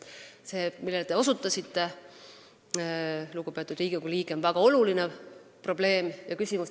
See, millele te, lugupeetud Riigikogu liige, osutasite, on väga suur probleem ja tähtis küsimus.